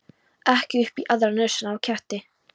Ekki upp í aðra nösina á ketti.